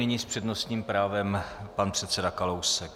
Nyní s přednostním právem pan předseda Kalousek.